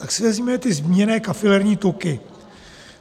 Tak si vezměme ty zmíněné kafilerní tuky.